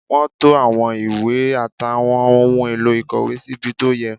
Wọ́n to àwọn ìwé àtàwọn ohun èlò ìkọ̀wé síbi tó yẹ